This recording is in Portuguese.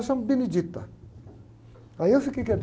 Eu chamo. Aí eu fiquei